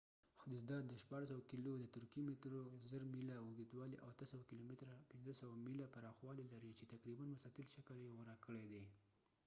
د ترکېی turkeyحدودات د 1600 کېلو مترو 1000 میله اوږدوالی او 800 کېلومتره 500 میله پراخوالی لري چې تقریبا مستطیل شکل یې غوره کړي دي